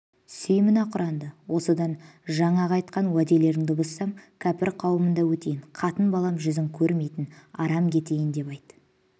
сүй мына құранды осыдан жаңағы айтқан уәделеріңді бұзсам кәпір қауымында өтейін қатын балам жүзін көрмейін арам кетейін деп айт